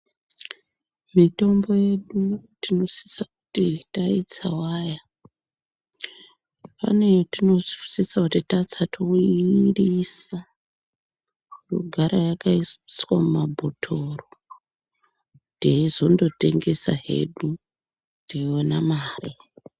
Mitombo yedu tinosisa kuti taitsawaya pane yatinosisa kuti tatsa toimwirisa yogara yakaiswa mumabhotoro teizongotengeswa hedu teiona mari.